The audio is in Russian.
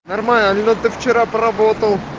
нормально алина ты вчера поработал